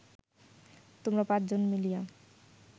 তোমরা পাঁচ জনে মিলিয়া